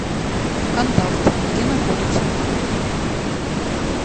контакт где находится